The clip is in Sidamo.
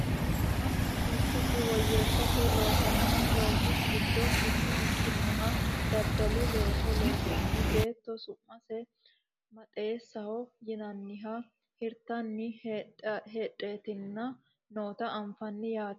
mannu heeshshosi woyyeessate loosanno loosi giddo mitto ikkinoha daddalu looso loossaanni beetto su'masi maxaaxeessaho yinnanniha hirtanninna hidhitanni noota anfanni yaate